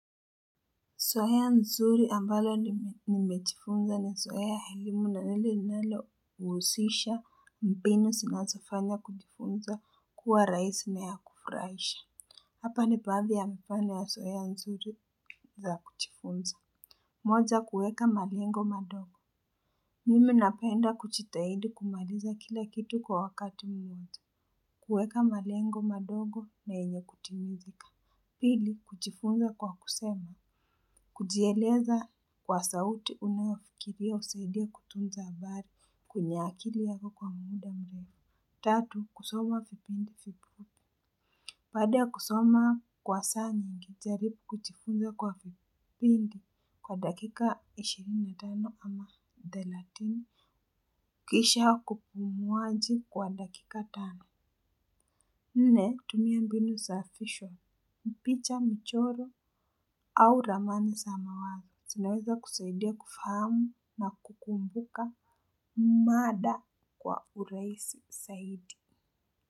Zoea nzuri ambalo nimejifunza ni zoea elimu na ile linalohusisha mbinu zinazofanya kujifunza kuwa rahisi na ya kufurahisha. Hapa ni baadhi ya mfano ya zoea nzuri za kujifunza. Moja kueka malengo madogo. Mimi napenda kujitahidi kumaliza kila kitu kwa wakati mwanzo. Kuweka malengo madogo na yenye kutimizika. Pili kuchifunza kwa kusema. Kujieleza kwa sauti unaofikiria husaidia kutunza habari kwenye akili yako kwa muda mrefu. Tatu, kusoma vipindi vipo baada ya kusoma kwa saa nyingi, jaribu kujifunza kwa vipindi kwa dakika ishirini na tano ama thelathini. Kisha kupumuaji kwa dakika tano. Nne, tumia mbinu za afisho. Mpicha mchoro au ramani za mawazo zinaweza kusaidia kufahamu na kukumbuka mada kwa urahisi zaidi.